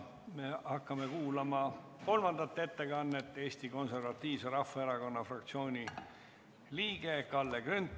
Me hakkame kuulama kolmandat ettekannet, mille teeb Eesti Konservatiivse Rahvaerakonna fraktsiooni liige Kalle Grünthal.